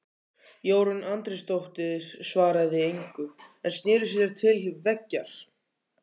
Jórunn Andrésdóttir svaraði engu, en snéri sér til veggjar.